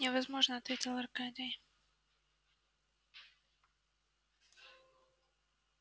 невозможно ответил аркадий